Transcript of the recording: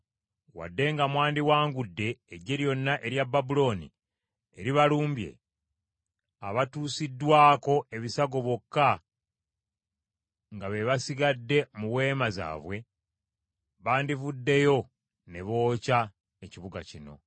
Wadde nga mwandiwangudde, eggye lyonna erya Babulooni eribalumbye, abatuusiddwako ebisago bokka nga be basigadde mu weema zaabwe, bandivuddeyo ne bookya ekibuga kino.”